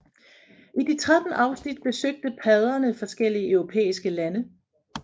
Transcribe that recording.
I de 13 afsnit besøgte padderne forskellige europæiske lande